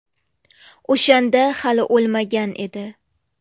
O‘shanda hali o‘lmagan edi.